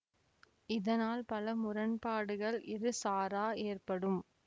இதனால் பல முரண்பாடுகள் இரு சாரா ஏற்படும்